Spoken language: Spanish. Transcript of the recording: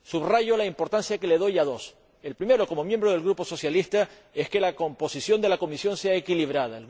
Subrayo la importancia que le doy a dos el primero, como miembro del Grupo socialista, es que la composición de la Comisión sea equilibrada.